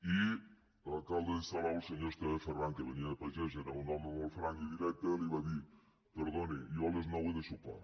i l’alcalde de salou el senyor esteve ferran que venia de pagès era un home molt franc i directe li va dir perdoni jo a les nou he de sopar